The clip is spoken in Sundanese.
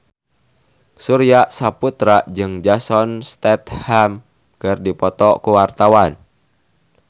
Surya Saputra jeung Jason Statham keur dipoto ku wartawan